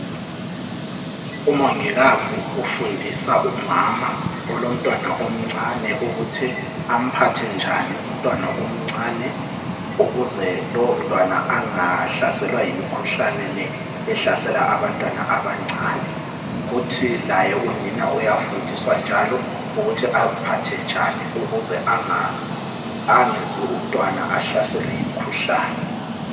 Umongikazi ufundisa umama olomntwana omncane ukuthi amphathe njani umntwana omncane ukuze lowo mntwana angahlaselwa imikhuhlane le ehlasela abantwana abancane kuthi laye unina uyafundiswa njalo ukuthi aziphathe njani ukuze angenzi umntwana ahlaselwe yimkhuhlane